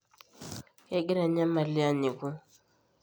kegira enyamali anyiku